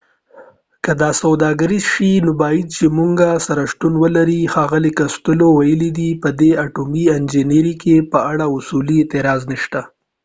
که دا سوداګریز شي نو بايد چي موږ سره شتون ولرې ښاغلي کوستیلو وویل په دي اټومي انرژۍ په اړه اصولي اعتراض نشته